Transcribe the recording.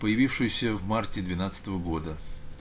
появившиеся в марте двенадцатого года